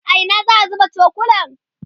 a Ina za'a zuba cokulan?